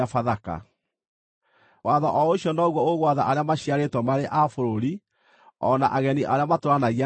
Watho o ũcio noguo ũgwatha arĩa maciarĩtwo marĩ a bũrũri, o na ageni arĩa matũũranagia na inyuĩ.”